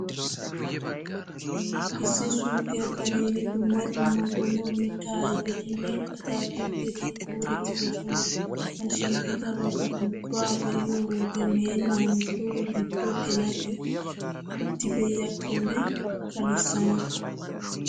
Issi suuqiyaa karen dumma dumma qommo mittaa ayfetinne ataakiltteti kuurettidosona. Ha shiiqidabata ubbaa be'iyo wode meennan coo giddo geladi utti pee'iyaakkonne kalissana.